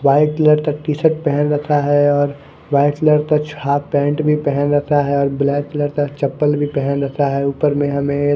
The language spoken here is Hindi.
व्हाईट कलर का टीशर्ट पहन रखा है और व्हाईट कलर का हाफ पैंट पहन रखा है और ब्लैक कलर का चप्पल भी पेहन रखा है। ऊपर में हमे--